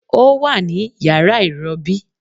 Ó wà ní yàrá ìrobí